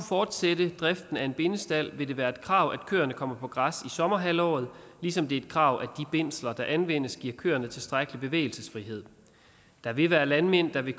fortsætte driften af en bindestald vil det være et krav at køerne kommer på græs i sommerhalvåret ligesom det er et krav at bindslerne der anvendes giver køerne tilstrækkelig bevægelsesfrihed der vil være landmænd der vil